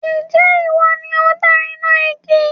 Ǹjẹ́ ìwọ ni ó dá iná igi?